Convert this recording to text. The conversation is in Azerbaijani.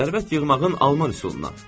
Sərvət yığmağın alman üsulundan.